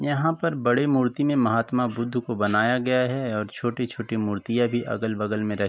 यहाँ पर बड़ी मूर्ति में महात्मा बुद्ध को बनाया गया है और छोटी-छोटी मूर्तियां भी अगल बगल में र --